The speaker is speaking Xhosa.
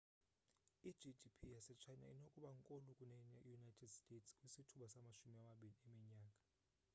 i-gdp yase china inokuba nkulu kune-united states kwisithuba samashumi amabini eminyaka